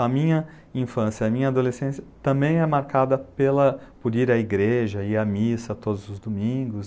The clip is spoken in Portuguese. A minha infância e a minha adolescência também é marcada pela, por ir à igreja, ir à missa todos os domingos.